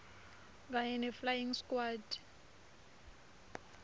kanye neflying squad